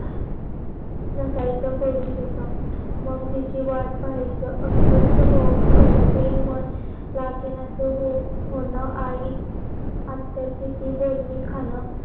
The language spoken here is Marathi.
बसायची थोड तिथ, मग तिची वाट पाहायची. अस्वतः होऊन कस तरी मन लागेना. तेव्हा मग आई आत्या किती बोलणे खाण.